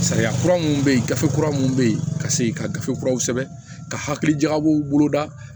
Sariya kura minnu bɛ yen gafe kura minnu bɛ yen ka segin ka gafe kuraw sɛbɛn ka hakili jagabɔ u bolo da